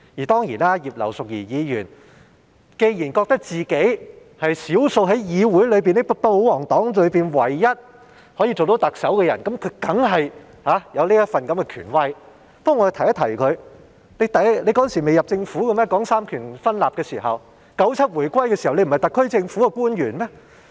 當然，葉劉淑儀議員既然覺得自己是少數在議會和保皇黨內唯一可以擔任特首的人，那麼她當然有這份權威，但我想提醒她，當年提出三權分立時，難道她仍未加入政府嗎？